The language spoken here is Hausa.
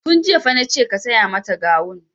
Tun jiya fa nace ka saya mata gawun!